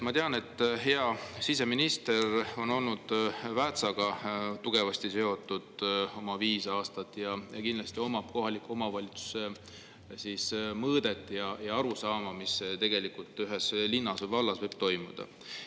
Ma tean, et hea siseminister on olnud Väätsaga tugevasti seotud oma viis aastat ja kindlasti omab kohaliku omavalitsuse mõõdet ja arusaama, mis tegelikult ühes linnas või vallas võib toimuda.